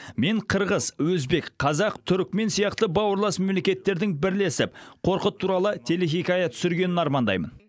мен қырғыз өзбек қазақ түрікмен сияқты бауырлас мемлекеттердің бірлесіп қорқыт туралы телехикая түсіргенін армандаймын